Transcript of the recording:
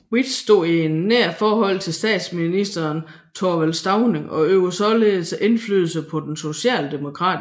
With stod i nært forhold til statsminister Thorvald Stauning og øvede således indflydelse på den socialdemokratiske forsvarspolitik